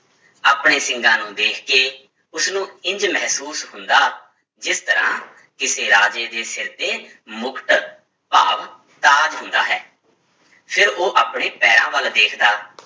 ਆਪਣੇ ਸਿੰਗਾਂ ਨੂੰ ਦੇਖ ਕੇ ਉਸਨੂੰ ਇੰਞ ਮਹਿਸੂਸ ਹੁੰਦਾ, ਜਿਸ ਤਰ੍ਹਾਂ ਕਿਸੇ ਰਾਜੇ ਦੇ ਸਿਰ ਤੇ ਮੁਕਟ ਭਾਵ ਤਾਜ ਹੁੰਦਾ ਹੈ, ਫਿਰ ਉਹ ਆਪਣੇ ਪੈਰਾਂ ਵੱਲ ਵੇਖਦਾ